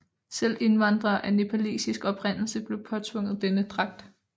Selv indvandrere af nepalesisk oprindelse blev påtvunget denne dragt